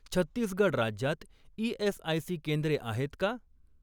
छत्तीसगड राज्यात ई.एस.आय.सी केंद्रे आहेत का?